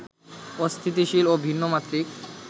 অস্থিতিশীল ও ভিন্ন মাত্রিক